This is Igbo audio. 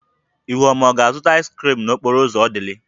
Ihuoma ga-azụta ịz krịm n'okporo ụzọ Odili?